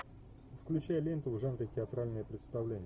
включай ленту в жанре театральное представление